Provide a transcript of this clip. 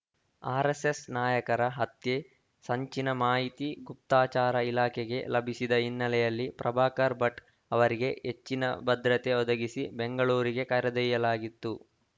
RSS ನಾಯಕರ ಹತ್ಯೆ ಸಂಚಿನ ಮಾಹಿತಿ ಗುಪ್ತಚಾರ ಇಲಾಖೆಗೆ ಲಭಿಸಿದ ಹಿನ್ನೆಲೆಯಲ್ಲಿ ಪ್ರಭಾಕರ ಭಟ್‌ ಅವರಿಗೆ ಹೆಚ್ಚಿನ ಭದ್ರತೆ ಒದಗಿಸಿ ಬೆಂಗಳೂರಿಗೆ ಕರೆದೊಯ್ಯಲಾಗಿತ್ತು